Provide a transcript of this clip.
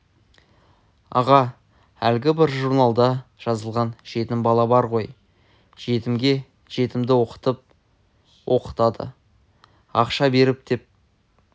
аға әлгі бір журналда жазылған жетім бала бар ғой жетімге жетімді оқытып оқытады ақша беріп деп